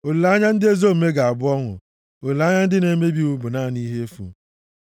Olileanya ndị ezi omume ga-abụ ọṅụ; olileanya ndị na-emebi iwu bụ naanị ihe efu.